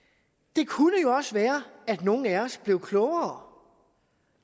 det kunne jo også være at nogle af os blev klogere